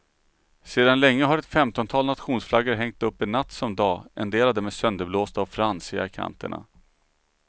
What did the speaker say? Sedan länge har ett femtontal nationsflaggor hängt uppe natt som dag, en del av dem är sönderblåsta och fransiga i kanterna.